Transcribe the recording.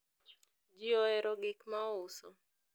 ji ohero gik ma ouso